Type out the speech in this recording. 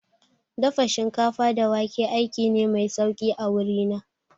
Dafa shinkafa da wake aiki ne mai sauki a wuri na